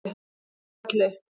Þórhalli